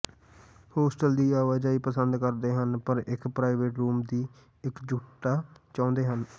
hostel ਦੀ ਆਵਾਜਾਈ ਪਸੰਦ ਕਰਦੇ ਹਨ ਪਰ ਇਕ ਪ੍ਰਾਈਵੇਟ ਰੂਮ ਦੀ ਇਕਜੁੱਟਤਾ ਚਾਹੁੰਦੇ ਹਨ